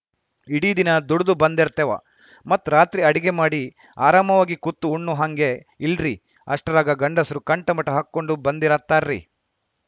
ಇಡೀ ದಿನ ದುಡದು ಬಂದರ್ತೇವ ಮತ್‌ ರಾತ್ರಿ ಅಡಿಗೆ ಮಾಡಿ ಆರಾಮಾಗಿ ಕುತ್ತು ಉಣ್ಣೂ ಹಂಗೇ ಇಲ್ರಿ ಅಷ್ಟರಾಗ ಗಂಡಸ್ರು ಕಂಠಮಟ ಹಾಕ್ಕೊಂಡು ಬಂದಿರತಾರ್ರಿ